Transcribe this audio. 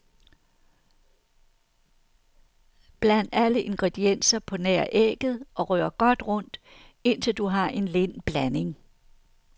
Bland alle ingredienser på nær ægget og rør godt rundt, indtil du har en lind blanding.